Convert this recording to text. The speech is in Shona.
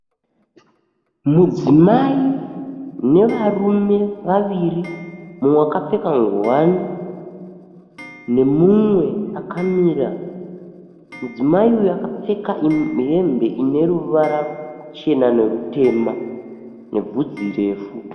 Mudzimai nevarume vaviri, umwe wakapfeka nguwani nemumwe akamira. Mudzimai uyu akapfeka hembe ine ruvara ruchena nerutema nebvudzi refu.